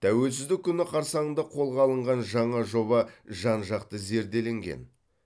тәуелсіздік күні қарсаңында қолға алынған жаңа жоба жан жақты зерделенген